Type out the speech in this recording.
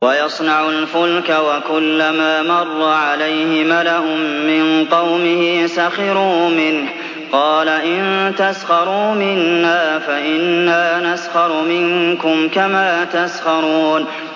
وَيَصْنَعُ الْفُلْكَ وَكُلَّمَا مَرَّ عَلَيْهِ مَلَأٌ مِّن قَوْمِهِ سَخِرُوا مِنْهُ ۚ قَالَ إِن تَسْخَرُوا مِنَّا فَإِنَّا نَسْخَرُ مِنكُمْ كَمَا تَسْخَرُونَ